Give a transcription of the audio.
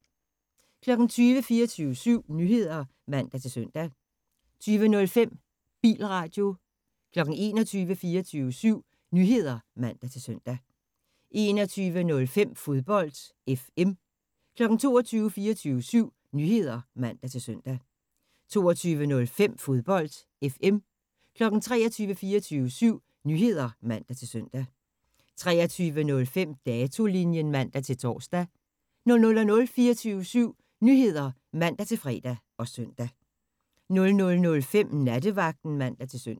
20:00: 24syv Nyheder (man-søn) 20:05: Bilradio 21:00: 24syv Nyheder (man-søn) 21:05: Fodbold FM 22:00: 24syv Nyheder (man-søn) 22:05: Fodbold FM 23:00: 24syv Nyheder (man-søn) 23:05: Datolinjen (man-tor) 00:00: 24syv Nyheder (man-fre og søn) 00:05: Nattevagten (man-søn)